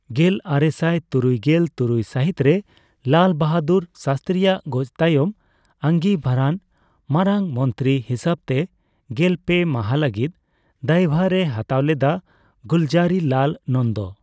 ᱜᱮᱞ ᱟᱨᱮᱥᱟᱭ ᱛᱩᱨᱩᱭᱜᱮᱞ ᱛᱩᱨᱩᱭ ᱥᱟᱹᱦᱤᱛ ᱨᱮ ᱞᱟᱞ ᱵᱟᱦᱟᱫᱩᱨ ᱥᱟᱥᱛᱨᱤᱭᱟᱜ ᱜᱚᱡ ᱛᱟᱭᱚᱢ ᱟᱸᱜᱤᱵᱷᱟᱨᱟᱱ ᱢᱟᱨᱟᱝᱢᱚᱱᱛᱨᱤ ᱦᱤᱥᱟᱹᱵᱛᱮ ᱜᱮᱞ ᱯᱮ ᱢᱟᱦᱟ ᱞᱟᱹᱜᱤᱫ ᱫᱟᱭᱵᱷᱟᱨᱮ ᱦᱟᱛᱟᱣ ᱞᱮᱫᱟ ᱜᱩᱞᱡᱟᱨᱤᱞᱟᱞ ᱱᱚᱱᱫᱚ ᱾